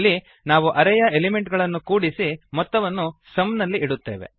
ಇಲ್ಲಿ ನಾವು ಅರೇಯ ಎಲಿಮೆಂಟ್ ಗಳನ್ನು ಕೂಡಿಸಿ ಮೊತ್ತವನ್ನು ಸುಮ್ ನಲ್ಲಿ ಇಡುತ್ತೇವೆ